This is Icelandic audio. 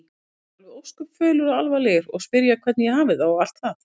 Þeir eru ósköp fölir og alvarlegir og spyrja hvernig ég hafi það og allt það.